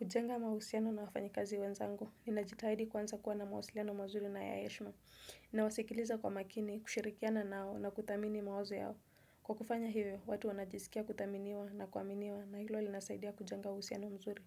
Kujenga mahusiano na wafanyikazi wenzangu, ninajitahidi kwanza kuwa na mahusiano mazuri na ya heshima. Ninawasikiliza kwa makini, kushirikiana nao na kuthamini mawazo yao. Kwa kufanya hiyo, watu wanajisikia kuthaminiwa na kuaminiwa na hilo linasaidia kujenga uhusiano mzuri.